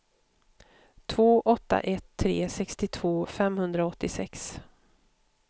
två åtta ett tre sextiotvå femhundraåttiosex